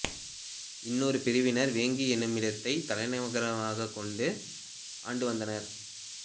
இன்னொரு பிரிவினர் வேங்கி என்னுமிடத்தைத் தலைநகரமாகக் கொண்டு ஆண்டு வந்தனர்